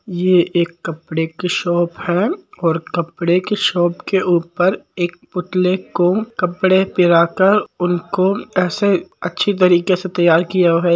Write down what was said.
ये एक कपड़े की शॉप है और कपड़े की शॉप के उपर एक पुतले को कपड़े पहनकर उनको ऐसे अच्छे तरीके से तैयार किया हुआ है।